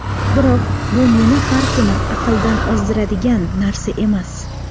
Biroq bu meni har kuni aqldan ozdiradigan narsa emas.